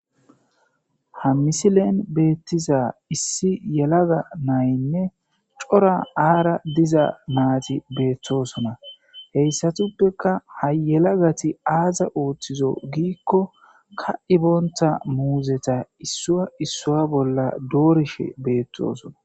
ha misilen beettiza issi yelaga naynne cora aara diza maati beettosona heyssatuppeka ha yelagati aaza ooththizo giikko ka iboonta muuzeta issua issua bolla doorishe beettoosona